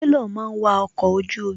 Sélọ̀ máa ń wa ọkọ̀ ojú omi.